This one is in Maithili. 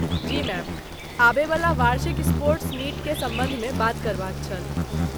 जी मैम, आबयवला वार्षिक स्पोर्ट्स मीटके सम्बन्ध मे बात करबाक छल।